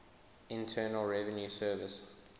internal revenue service